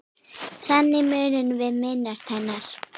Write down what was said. Þannig munum við minnast hennar.